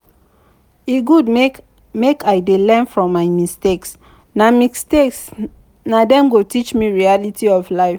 e good make i dey learn from my mistakes na mistakes na dem go teach me reality of life.